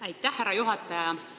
Aitäh, härra juhataja!